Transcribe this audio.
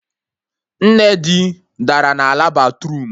Nne di dara na ala batruum